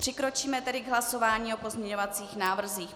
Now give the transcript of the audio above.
Přikročíme tedy k hlasování o pozměňovacích návrzích.